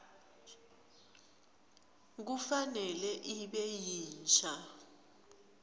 kufanele ibe yinsha